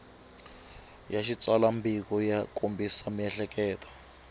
ya xitsalwambiko ya kombisa miehleketo